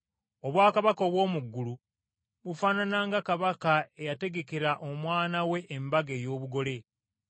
“Obwakabaka obw’omu ggulu bufaanana nga, kabaka eyategekera omwana we embaga ey’obugole.